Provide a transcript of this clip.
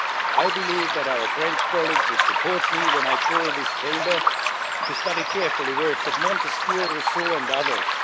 I believe that our French colleagues would support me when I call on this Chamber to study carefully the works of Montesquieu, Rousseau and others.